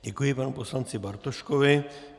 Děkuji panu poslanci Bartoškovi.